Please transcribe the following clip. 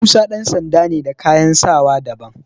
Musa ɗan sanda ne da kayan sawa daban.